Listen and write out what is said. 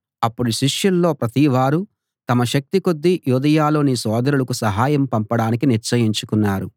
అప్పుడు శిష్యుల్లో ప్రతివారూ తమ శక్తి కొద్దీ యూదయలోని సోదరులకు సహయం పంపడానికి నిశ్చయించుకున్నారు